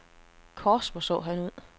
Kors hvor han så ud.